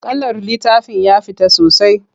Kalar littafin ya fita sosai.